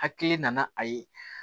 Hakili nana a ye